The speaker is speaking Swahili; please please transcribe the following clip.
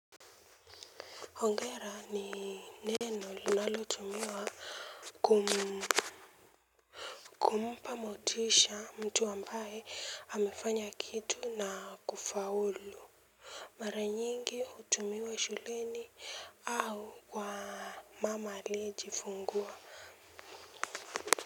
Hongera ni neno linalo tumiwa kumpa motisha mtu ambaye amefanya kitu na kufaulu. Mara nyingi hutumiwa shuleni au kwa mama aliejifungua.